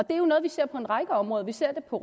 er jo noget vi ser på en række områder vi ser det på